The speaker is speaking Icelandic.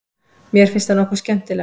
Mér finnst það nokkuð skemmtilegt.